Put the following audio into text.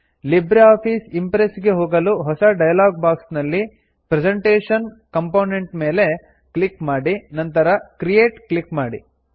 Libre Office Impress ಗೆ ಹೋಗಲು ಹೊಸ ಡೈಲಾಗ್ ಬಾಕ್ಸ್ ನಲ್ಲಿ ಪ್ರೆಸೆಂಟೇಶನ್ ಕಂಪೋನೆಂಟ್ ಮೇಲೆ ಕ್ಲಿಕ್ ಮಾಡಿ ನಂತರ ಕ್ರಿಯೇಟ್ ಕ್ಲಿಕ್ ಮಾಡಿ